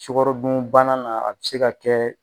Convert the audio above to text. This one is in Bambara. Sukarodunbana na a bi se ka kɛ.